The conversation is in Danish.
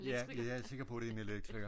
Ja jeg er sikker på det er en elektriker så